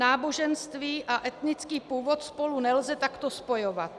Náboženství a etnický původ spolu nelze takto spojovat.